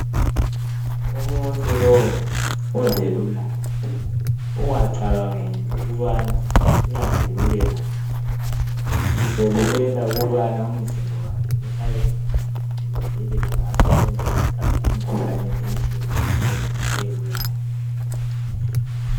Umuntu lowu ozelulayo ungacbangeli ukubana uyazeluka nje uzelulela ukuba umzimba wakhe uhlale uqinile uvikeleke ngasosonke isikhathi emkhuhlaneni etshiyetshiyeneyo ebuyayo.